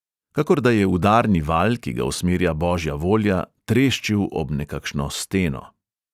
Kakor da je udarni val, ki ga usmerja božja volja, treščil ob nekakšno steno.